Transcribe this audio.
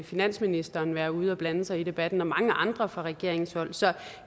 finansministeren være ude og blande sig i debatten og mange andre fra regeringens hold så jeg